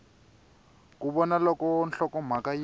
ku vona loko nhlokomhaka yi